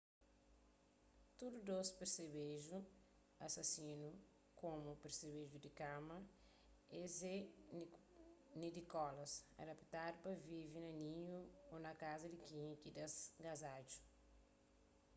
tudu dôs persebeju asasinu komu persebeju di kama es é nidikolas adaptadu pa vive na ninhu ô na kaza di kenka ki das kazadju